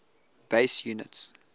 base units